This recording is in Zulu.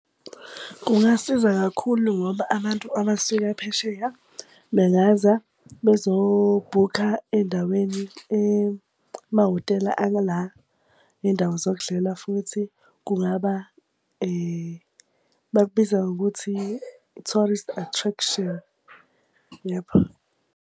Kungasiza kakhulu ngoba abantu abasuka phesheya, bengeza bezobhukha ey'ndaweni emahhotela aka la. Ney'ndawo zokudlela futhi kungaba bakubiza ngokuthi i-tourist attraction .